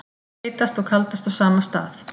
Heitast og kaldast á sama stað